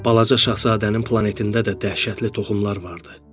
Balaca şahzadənin planetində də dəhşətli toxumlar vardı.